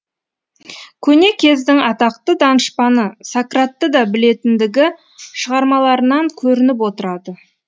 көне кездің атақты данышпаны сократты да білетіндігі шығармаларынан көрініп отырады